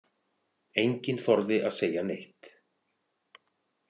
Enginn þorði að segja neitt.